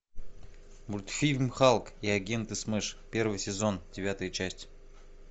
мультфильм халк и агенты смэш первый сезон девятая часть